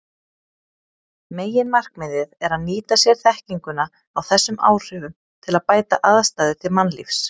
Meginmarkmiðið er að nýta sér þekkinguna á þessum áhrifum til að bæta aðstæður til mannlífs.